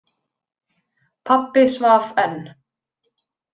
Pabbi svaf enn.